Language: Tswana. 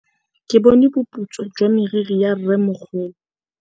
Ke bone boputswa jwa meriri ya rrêmogolo.